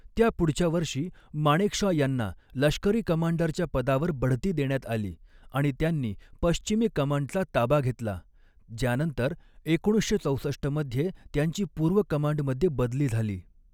त्या पुढच्या वर्षी माणेकशॉ यांना लष्करी कमांडरच्या पदावर बढती देण्यात आली आणि त्यांनी पश्चिमी कमांडचा ताबा घेतला, ज्यानंतर एकोणीसशे चौसष्ट मध्ये त्यांची पूर्व कमांडमध्ये बदली झाली.